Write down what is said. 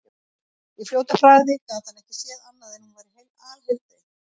Í fljótu bragði gat hann ekki séð annað en hún væri alheilbrigð.